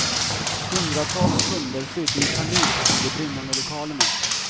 Hundratals kunder flydde i panik från de brinnande lokalerna.